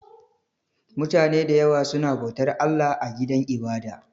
Mutane da yawa suna bautar Allah a gidan ibada